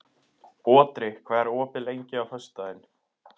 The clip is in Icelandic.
Otri, hvað er opið lengi á föstudaginn?